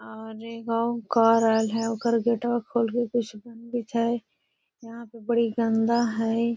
और एगो कार आएल है ओकर गेटवा खोल के कुछ बनवीत हई | यहाँ पे बडी गन्दा हई |